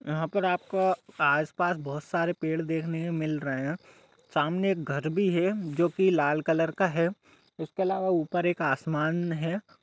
यहा पर आपको आसपस बहोत सारे पेड़ देख ने को मिल रहे है सामने एक घर भी है जोकि लाल कलर का है उसके अलावा ऊपर एक आसमान है।